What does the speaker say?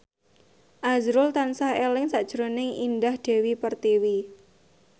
azrul tansah eling sakjroning Indah Dewi Pertiwi